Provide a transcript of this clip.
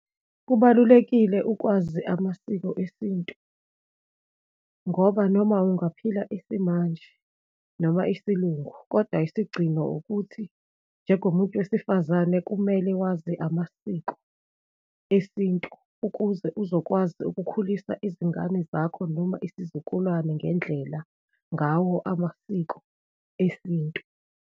Kubalulekile ukwazi amasiko esintu ngoba noma ungaphila isimanje noma isiLungu, kodwa isigcino ukuthi, njengomuntu wesifazane kumele wazi amasiko esintu, ukuze uzokwazi ukukhulisa izingane zakho noma isizukulwane ngendlela, ngawo amasiko esintu.